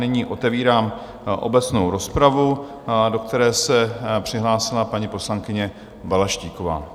Nyní otevírám obecnou rozpravu, do které se přihlásila paní poslankyně Balaštíková.